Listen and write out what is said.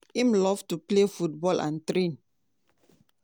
im love to play football and train.